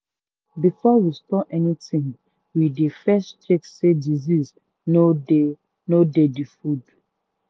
um before we store anything we dey first check say disease no dey no dey the food.